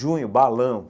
Junho, balão.